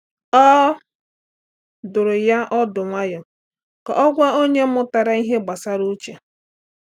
Ọ dụrụ ya ọdụ nwayọọ ka ọ gwa onye mụtara ihe gbasara uche.